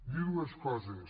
dir dues coses